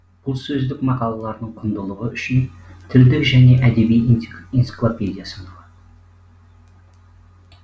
бұл сөздік мақалаларының құндылығы үшін тілдік және әдеби энциклопедия саналады